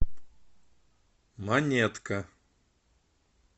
монетка